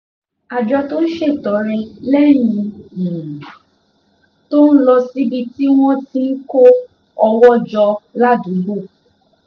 àjọ tó ń ṣètọrẹ lẹ́yìn um tó lọ síbi tí wọ́n ti ń kó owó um jọ ládùúgbò